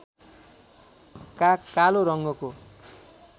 काग कालो रङ्गको